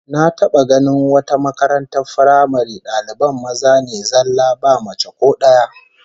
Na taba ganin wata makaratar firamare daliban maza ne zallah ba mace ko daya